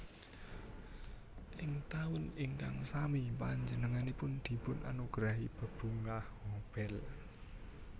Ing taun ingkang sami panjenenganipun dipun anugerahi bebungah Nobel